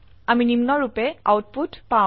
আমি নিম্নৰুপে আউটপুট পাও